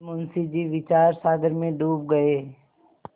मुंशी जी विचारसागर में डूब गये